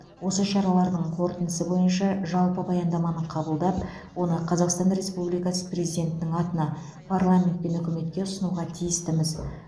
осы шаралардың қорытындысы бойынша жалпы баяндаманы қабылдап оны қазақстан республикасы президентінің атына парламент пен үкіметке ұсынуға тиістіміз